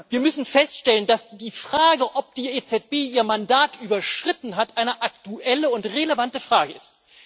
Wir müssen feststellen, dass die Frage, ob die EZB ihr Mandat überschritten hat, eine aktuelle und relevante Frage ist.